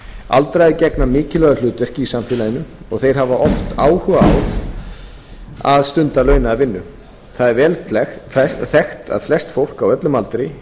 aldraðir gegna mikilvægu hlutverki í samfélaginu og þeir hafa oft áhuga á að stunda launaða vinnu það er vel þekkt að flest fólk á öllum aldri